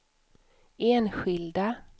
enskilda